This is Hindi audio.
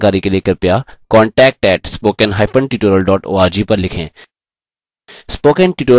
अधिक जानकारी के लिए कृपया contact @spokentutorial org पर लिखें